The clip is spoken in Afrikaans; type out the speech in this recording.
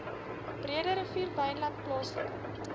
breederivier wynland plaaslike